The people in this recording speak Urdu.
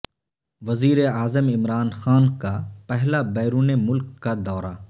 وزیر اعظم عمران خان کا پہلا بیرون ملک کا دورہ